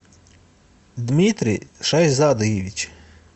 дмитрий шайзадаевич